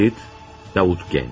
Səs yazması, Davut Gənc.